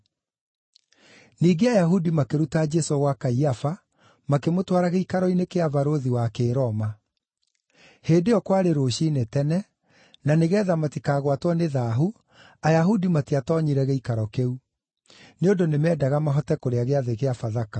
Ningĩ Ayahudi makĩruta Jesũ gwa Kaiafa makĩmũtwara gĩikaro-inĩ kĩa Barũthi wa Kĩroma. Hĩndĩ ĩyo kwarĩ rũciinĩ tene, na nĩgeetha matikagwatwo nĩ thaahu, Ayahudi matiatoonyire gĩikaro kĩu; nĩ ũndũ nĩmendaga mahote kũrĩa gĩathĩ kĩa Bathaka.